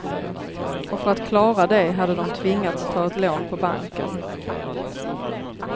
Och för att klara det hade de tvingats ta ett lån på banken.